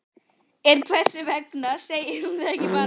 En hvers vegna segir hún ekki bara